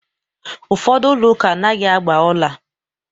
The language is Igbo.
Ụfọdụ ụlọ ụka anaghị agba ọla